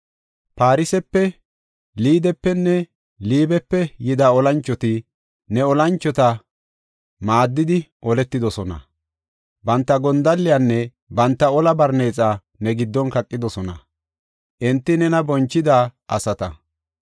“Farsefe, Liidepenne Liibepe yida olanchoti, ne olanchota maaddidi oletidosona. Banta gondalliyanne banta ola barneexa ne giddon kaqidosona; enti nena bonchida asata.